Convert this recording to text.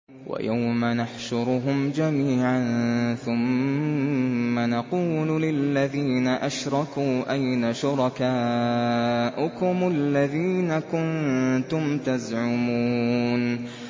وَيَوْمَ نَحْشُرُهُمْ جَمِيعًا ثُمَّ نَقُولُ لِلَّذِينَ أَشْرَكُوا أَيْنَ شُرَكَاؤُكُمُ الَّذِينَ كُنتُمْ تَزْعُمُونَ